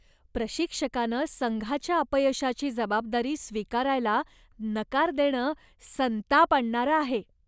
प्रशिक्षकानं संघाच्या अपयशाची जबाबदारी स्वीकारायला नकार देणं संताप आणणारं आहे.